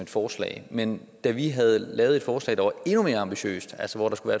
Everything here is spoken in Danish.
et forslag men da vi havde lavet et forslag der var endnu mere ambitiøst altså hvor der skulle